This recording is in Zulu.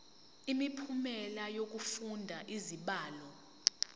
imiphumela yokufunda izibalo